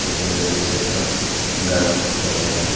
পিসনে দুই সাইটটা গাস দেখতে পাওয়া যায়।